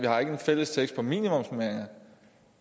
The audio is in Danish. har en fælles tekst om minimumsnormeringer